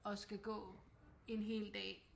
Og skal gå en hel dag